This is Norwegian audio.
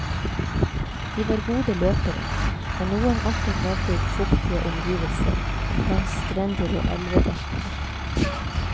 De var gode løpere, og noen arter levde i fuktige omgivelser, langs strender og elvedeltaer.